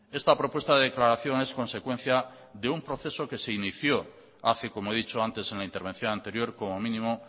esta propuesta de declaración es consecuencia de un proceso que se inició hace como he dicho antes en la intervención anterior como mínimo